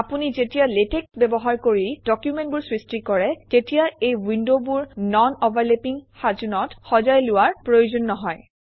আপুনি যেতিয়া লেটেক্স ব্যবহাৰ কৰি ডকুমেণ্টবোৰ সৃষ্টি কৰে তেতিয়া এই উইনডবোৰ নন অভাৰলেপিং সাজোনত সজাই লোৱাৰ প্ৰয়োজন নহয়